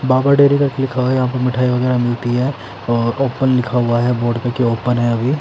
बाबा dairy करके लिखा हुआ है यहाँ पे मिठाई वगेरा मिलती है अ ओपन लिखा हुआ है कि ओपन है अभी --